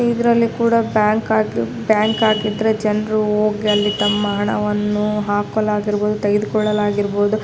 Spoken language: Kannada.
ಇದ್ರಲ್ಲಿ ಕೂಡ ಬ್ಯಾಂಕ್ ಆಗಿ ಬ್ಯಾಂಕ್ ಆಗಿದ್ರೆ ಜನರು ಹೋಗಿ ಅಲ್ಲಿ ತಮ್ಮ ಹಣವನ್ನು ಹಾಕಲಾಗಿರಬಹುದು ತೆಗೆದುಕೊಳ್ಳಲಾಗಿರಬಹುದು.